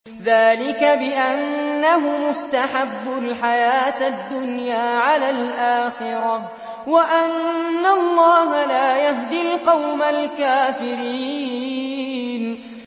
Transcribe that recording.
ذَٰلِكَ بِأَنَّهُمُ اسْتَحَبُّوا الْحَيَاةَ الدُّنْيَا عَلَى الْآخِرَةِ وَأَنَّ اللَّهَ لَا يَهْدِي الْقَوْمَ الْكَافِرِينَ